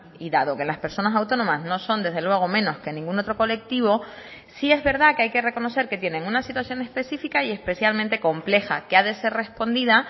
y dado que las personas autónomas no son desde luego menos que ningún otro colectivo sí es verdad que hay que reconocer que tienen una situación específica y especialmente compleja que ha de ser respondida